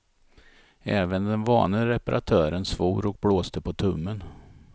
Även den vane reparatören svor och blåste på tummen.